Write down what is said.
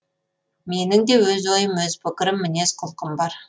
менің де өз ойым өз пікірім мінез құлқым бар